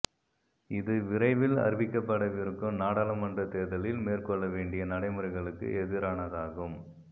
இது விரைவில் அறிவிக்கப்படவிருக்கும் நாடாளுமன்றத் தேர்தலில் மேற்கொள்ள வேண்டிய நடைமுறைகளுக்கு எதிரானதாகும்